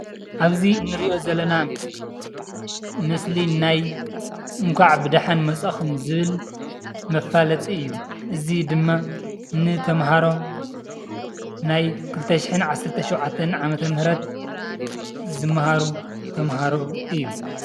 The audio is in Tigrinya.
አብዚ እንሪኦ ዘለና ምስሊ፣ ምስሊ ናይ እንኳዕ ብደሓን መፃኹም ዝብል መፋለጢ እዩ፡፡ እዚ ድማ ንተምሃሮ ናይ 2017 ዓ/ም ዝምሃሩ ተምሃሮ እዩ፡፡